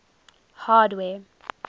hardware